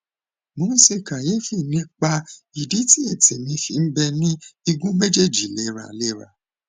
mo ń ṣe kàyéfì nípa ìdí tí ètè mi fi ń bẹ ní igun méjèèjì léraléra